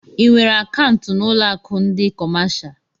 Ị nwèrè akaụntu na ụlọ akụ ndị kọmáshá?